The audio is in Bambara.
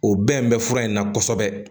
O bɛn bɛ fura in na kosɛbɛ